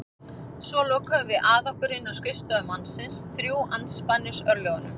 Svo lokuðum við að okkur inni á skrifstofu mannsins, þrjú andspænis örlögunum.